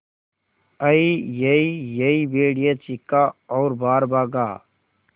अईयईयई भेड़िया चीखा और बाहर भागा